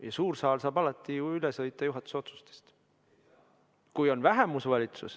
Ja suur saal saab alati ju üle sõita juhatuse otsustest.